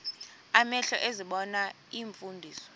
amehlo ezibona iimfundiso